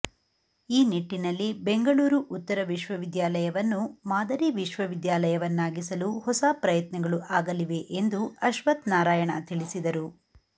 ಈ ನಿಟ್ಟಿನಲ್ಲಿ ಬೆಂಗಳೂರು ಉತ್ತರ ವಿಶ್ವವಿದ್ಯಾಲಯವನ್ನು ಮಾದರಿ ವಿಶ್ವವಿದ್ಯಾಲಯವನ್ನಾಗಿಸಲು ಹೊಸ ಪ್ರಯತ್ನಗಳು ಆಗಲಿವೆ ಎಂದು ಅಶ್ವಥ್ ನಾರಾಯಣ ತಿಳಿಸಿದರು